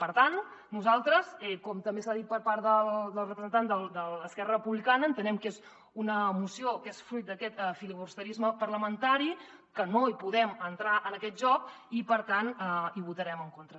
per tant nosaltres com també s’ha dit per part del representant d’esquerra republicana entenem que és una moció que és fruit d’aquest filibusterisme parlamentari que no podem entrar en aquest joc i per tant hi votarem en contra